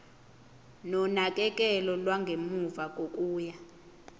nonakekelo lwangemuva kokuya